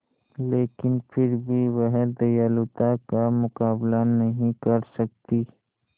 लेकिन फिर भी वह दयालुता का मुकाबला नहीं कर सकती